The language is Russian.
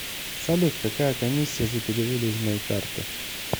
салют какая комиссия за переводы из моей карты